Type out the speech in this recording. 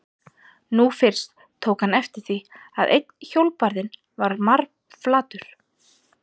Nú fyrst tók hann eftir því að einn hjólbarðinn var marflatur.